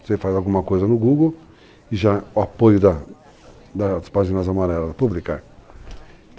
Você faz alguma coisa no Google e já o apoio das páginas amarelas é Publicar.